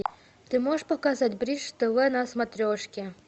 ты можешь показать бридж тв на смотрешке